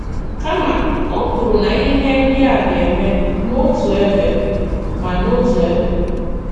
Kàma, ọ̀ kwùrù na ihe ndị a gā-eme “n’òtù ebe ma n’òtù ebe.”